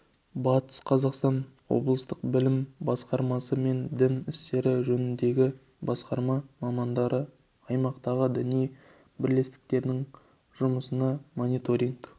батыс қазақстан облыстық білім басқармасы мен дін істері жөніндегі басқарма мамандары аймақтағы діни бірлестіктердің жұмысына мониторинг